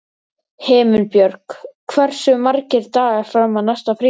Himinbjörg, hversu margir dagar fram að næsta fríi?